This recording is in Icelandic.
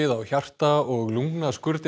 á hjarta og